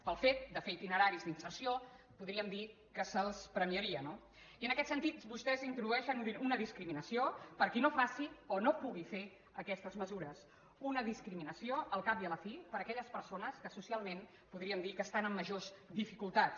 pel fet de fer itineraris d’inserció podríem dir que se’ls premiaria no i en aquest sentit vostès introdueixen una discriminació per a qui no faci o no pugui fer aquestes mesures una discriminació al cap i a la fi per a aquelles persones que socialment podríem dir que estan en majors dificultats